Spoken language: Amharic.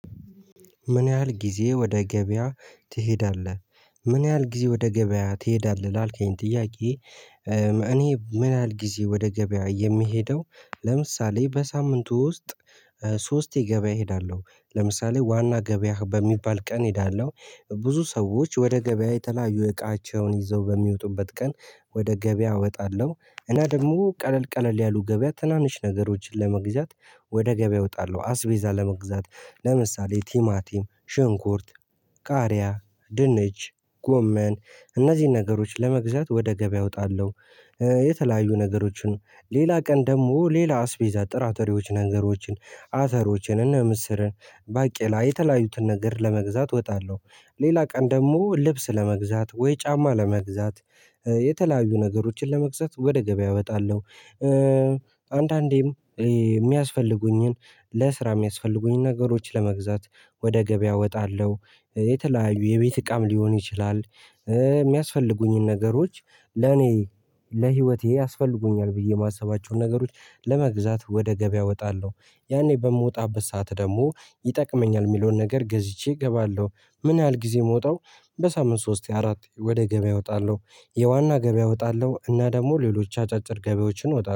ምን ያህል ጊዜ ወደ ገበያ ትሄዳለህ? ምን ያህል ጊዜ ወደ ገበያ ትሄዳለህ ላልከኝ ጥያቄ። እኔ ምን ያህል ጊዜ ወደ ገበያ የምሄደው ለምሳሌ በሳምንቱ ውስጥ ሶስቴ ገበያ እሄዳለሁ። ለምሳሌ ዋና ገበያ በሚባል ቀን እሄዳለሁ ብዙ ሰዎች ወደ ገበያ የተለያዩ እቃቸውን ይዘው በሚወጡበት ቀን ወደ ገበያ እወጣለሁ እና ደግሞ ቀለል ቀለል ያሉ ገበያ ትናንሽ ነገሮችን ለመግዛት ወደ ገበያ እወጣለሁ አስቤዛ ለመግዛት ለምሳሌ ቲማቲም ሽንኩርት ቃሪያ ድንች ጎመን እነዚህን ነገሮች ለመግዛት ወደ ገበያ እወጣለሁ። የተለያዩ ነገሮችን ሌላ ቀን ደግሞ ሌላ አስቤዛ ጥራተሬዎች ነገሮችን አተሮችን እነ ምስርን ባቄላ የተለያዩትን ነገር ለመግዛት ወጣለሁ። ሌላ ቀን ደግሞ ልብስ ለመግዛት ወይ ጫማ ለመግዛት የተለያዩ ነገሮችን ለመግዛት ወደ ገበያ እወጣለሁ። አንዳንዴም የሚያስፈልጉኝን ለስራ የሚያስፈልጉኝን ነገሮች ለመግዛት ወደ ገበያ እወጣለሁ የተለያዩ የቤት እቃም ሊሆን ይችላል። የሚያስፈልጉኝን ነገሮች ለኔ ለህይወቴ ያስፈልጉኛል ብዬ የማስባቸውን ነገሮች ለመግዛት ወደ ገበያ እወጣለሁ። ያኔ በምወጣበት ሰዓት ደግሞ ይጠቅመኛል የምለውን ነገር ገዝቼ እገባለሁ። ምን ያህል ጊዜ ምወጣው? በሳምንት ሶስቴ አራቴ ወደ ገበያ እወጣለሁ። የዋና ገበያ እወጣለሁ እና ደግሞ ሌሎች አጫጭር ገበያዎችን እወጣለሁ